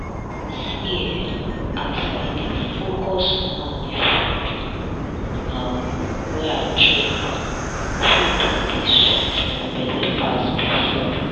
see eh as i dey focus now di food um wey i chop food don dey sweet my belle pass before.